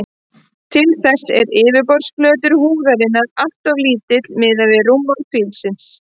Til þess er yfirborðsflötur húðarinnar alltof lítill miðað við rúmmál fílsins.